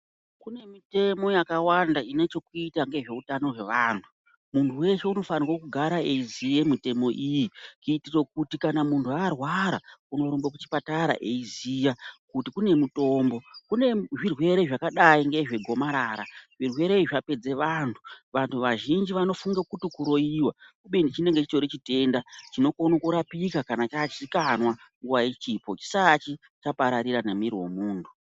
Kune mitemo yakawanda ine chekuita ngeutano hwaantu. Muntu wese unofanirwe kugara eizive mitemo iyi kuitira kuti kana muntu arwara unorumbe kuchipatara eizive kuti kune mutombo. Kune zvirwere zvakadai ngezvegomarara, zvirwere izvi zvapedza vantu, vantu vazhinji vanofunge kuti kuroiwa, kubeni chinenge chitori chite